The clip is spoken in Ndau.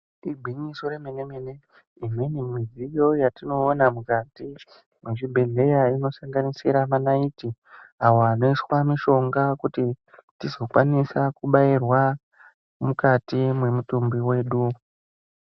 Igwinyiso remene-mene, imweni midziyo yetinoona mukati mezvibhedhlera inosanganisira manaiti awo anoiswa mushonga kuti tizokwanisa kubairwa mukati memutumbi wedu.